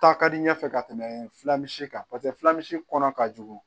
Ta ka di n ɲɛfɛ ka tɛmɛ filasi kan paseke filasi kɔnɔ ka jugu